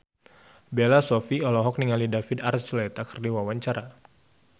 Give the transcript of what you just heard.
Bella Shofie olohok ningali David Archuletta keur diwawancara